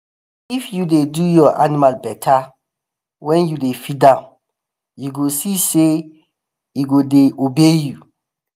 if you dey do your animal better wen you dey feed am you go see say e go dey obey you.